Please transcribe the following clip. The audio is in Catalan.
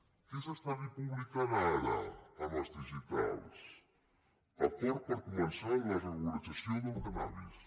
què s’està publicant ara en els digitals acord per començar la regularització del cànnabis